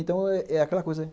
Então, é é aquela coisa.